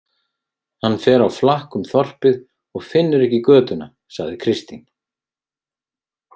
Hann fer á flakk um þorpið og finnur ekki götuna, sagði Kristín.